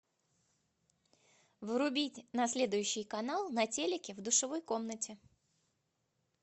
врубить на следующий канал на телике в душевой комнате